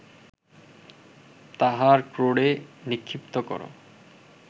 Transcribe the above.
তাহার ক্রোড়ে নিক্ষিপ্ত কর